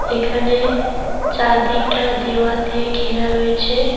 এখানে চারদিকটা দেওয়াল দিয়ে ঘেরা রয়েছে।